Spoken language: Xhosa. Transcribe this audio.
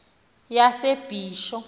yasebisho